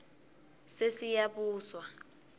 sesiyabuswa